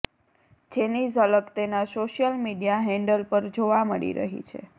જેની ઝલક તેના સોશિયલ મીડિયા હેન્ડલ પર જોવા મળી રહી છે